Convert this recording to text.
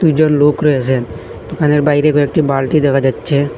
দুজন লোক রয়েছেন দোকানের বাইরে কয়েকটি বালটি দেখা যাচ্ছে।